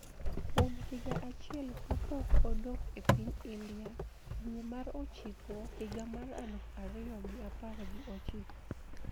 Kuom higa achiel ka pok odok e piny India dwe mar ochiko higa mar aluf ariyo gi apar gi ochiko